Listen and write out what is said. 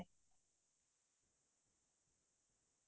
হয় হয় হয়